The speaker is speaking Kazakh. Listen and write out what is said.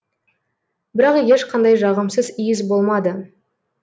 бірақ ешқандай жағымсыз иіс болмады